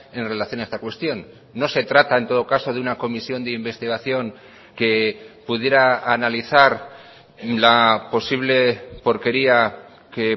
en relación a esta cuestión no se trata en todo caso de una comisión de investigación que pudiera analizar la posible porquería que